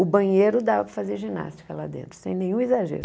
O banheiro dava para fazer ginástica lá dentro, sem nenhum exagero.